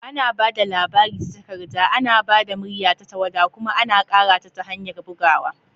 Ana ba da labari ta takarda, ana ba da murya ta tawada, kuma ana ƙara ta ta hanyar bugawa.